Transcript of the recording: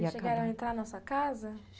Chegaram a entrar na nossa casa?